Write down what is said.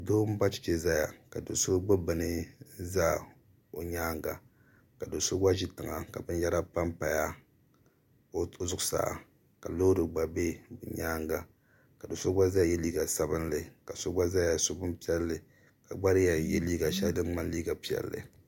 doo m-ba cheche n-zaya ka do' so gbibi bini n-za o nyaaŋa ka do' so gba ʒi tiŋa ka binyɛra pampaya o zuɣusaa ka loori gba be nyaaŋa ka do' so gba zaya ye liiga sabinli ka so gba zaya so bim' piɛlli ka gba di yɛn ye liiga shɛli din ŋmani liiga piɛlli